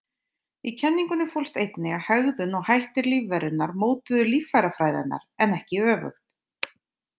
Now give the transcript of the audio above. Í kenningunni fólst einnig að hegðun og hættir lífverunnar mótuðu líffærafræði hennar, en ekki öfugt.